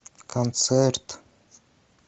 концерт